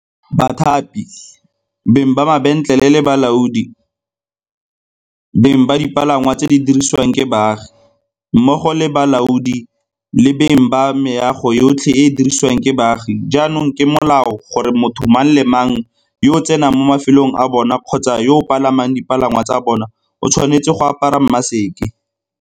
Bathapi, beng ba mabentlele le balaodi, beng ba dipalangwa tse di dirisiwang ke baagi, mmogo le balaodi le beng ba meago yotlhe e e dirisiwang ke baagi jaanong ke molao gore motho mang le mang yo a tsenang mo mafelong a bona kgotsa yo a palamang dipalangwa tsa bona o tshwanetse go bo a apere maseke.